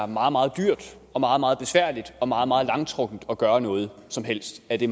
meget meget dyrt og meget meget besværligt og meget meget langtrukkent at gøre noget som helst af det